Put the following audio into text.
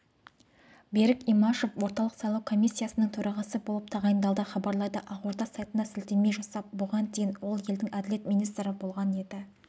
берік имашев орталық сайлау комиссиясының төрағасы болып тағайындалды хабарлайды ақорда сайтына сілтемее жасап бұған дейін ол елдің әділет министрі болған еді